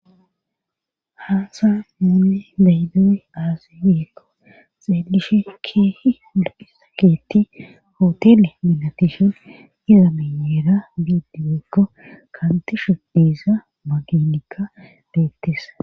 haasa muune daydewe aazi wikko xeelishe keehi ulahi sa keeti hotele minatishon izameyeera bidiwekko kaantishe diiza maginika beettisa